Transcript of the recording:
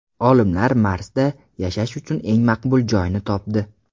Olimlar Marsda yashash uchun eng maqbul joyni topdi.